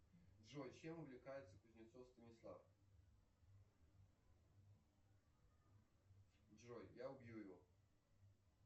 джой чем увлекается кузнецов станислав джой я убью его